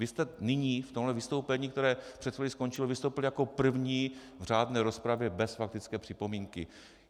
Vy jste nyní v tomhle vystoupení, které před chvílí skončilo, vystoupil jako první v řádné rozpravě bez faktické připomínky.